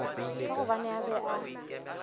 ka gobane a be a